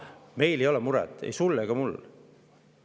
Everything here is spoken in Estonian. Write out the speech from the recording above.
Meil ei ole muret, ei sul ega mul.